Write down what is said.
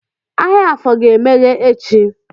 Ahịa afọ ga-emeghe echi